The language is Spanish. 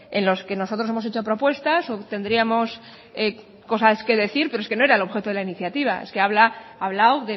en los que nosotros hemos hecho propuestas o tendríamos cosas que decir pero eso no era el objeto de la iniciativa ha hablado